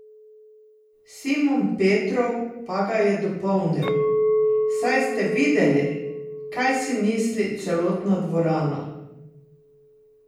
Simon Petrov pa ga je dopolnil: "Saj ste videli, kaj si misli celotna dvorana.